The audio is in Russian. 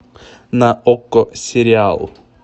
на окко сериал